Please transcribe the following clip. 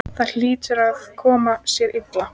Það hlýtur að koma sér illa.